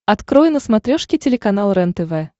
открой на смотрешке телеканал рентв